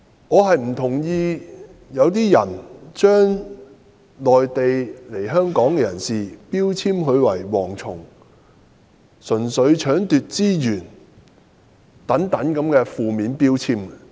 我不同意把內地來港人士標籤為"蝗蟲"，並掛上純粹搶奪資源等負面標籤。